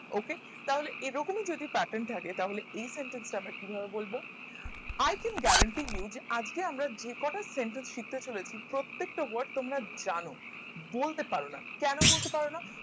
ok তাহলে এরকমই যদি pattern থাকে তাহলে এই sentence টা আমার কি ভাবে বলবো আর একজন i think guarantee আজকে আমরা যে কটা sentence শিখতে চলেছি প্রত্যেকটা word তোমরা জানো বলতে পারো না কেন বলতে পারো না